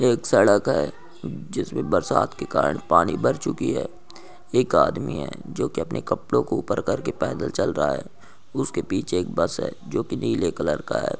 एक सड़क है जिसमें बरसात के कारण पानी भर चुकी है एक आदमी है जो कि अपने कपड़ों को ऊपर करके पैदल चल रहा है उसके पीछे एक बस है जो की नीले कलर का है।